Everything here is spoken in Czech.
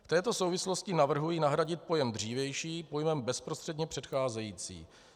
V této souvislosti navrhuji nahradit pojem "dřívější" pojmem "bezprostředně předcházející".